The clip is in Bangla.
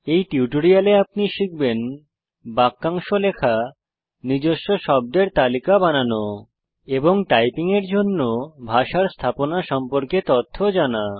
এই টিউটোরিয়ালে আপনি শিখবেন বাক্যাংশ লেখা নিজস্ব শব্দের তালিকা বানানো এবং টাইপিং এর জন্য ভাষার স্থাপনা সম্পর্কে তথ্য জানা